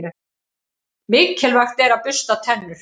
Mikilvægt er að bursta tennur.